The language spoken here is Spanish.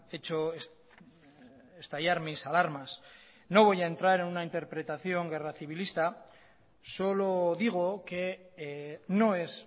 hecho estallar mis alarmas no voy ha entrar en una interpretación guerra civilista solo digo que no es